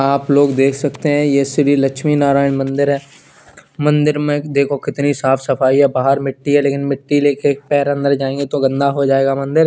आप लोग देख सकते हैं ये श्री लक्ष्मी नारायण मंदिर है मंदिर में देखो कितनी साफ सफाई है बाहर मिट्टी है लेकिन मिट्टी लेके पैर अंदर जाएंगे तो गंदा हो जाएगा मंदिर।